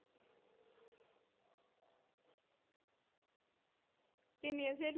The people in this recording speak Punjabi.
ਕਿੰਨੀਆਂ ਸਹੇਲੀਆਂ?